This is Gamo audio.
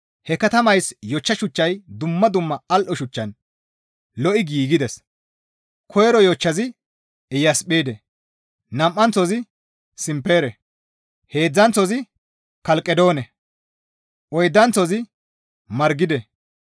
He katamayssi yochcha shuchchay dumma dumma al7o shuchchan lo7i giigides; koyro yochchazi Iyasphide, nam7anththozi Simpere, heedzdzanththozi Kelqedoone, oydanththozi Margide,